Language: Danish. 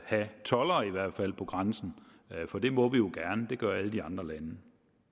have toldere i hvert fald på grænsen for det må vi jo gerne det gør alle de andre lande